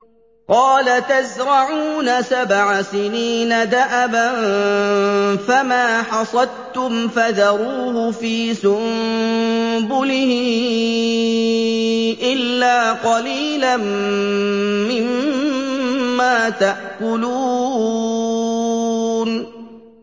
قَالَ تَزْرَعُونَ سَبْعَ سِنِينَ دَأَبًا فَمَا حَصَدتُّمْ فَذَرُوهُ فِي سُنبُلِهِ إِلَّا قَلِيلًا مِّمَّا تَأْكُلُونَ